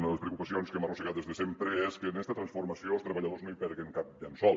una de les preocupacions que hem arrossegat des de sempre és que en esta transformació els treballadors no hi perdin cap llençol